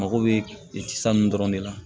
Mago bɛ san dɔrɔn de la